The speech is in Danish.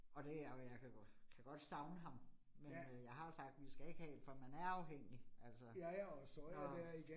Og det jeg kan jeg kan kan godt savne ham, men øh jeg har sagt, vi skal ikke have 1, for man er afhængig altså. Når